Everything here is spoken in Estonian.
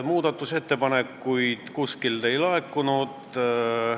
Muudatusettepanekuid kuskilt ei laekunud.